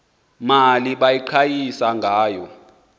mali baqhayisa ngayo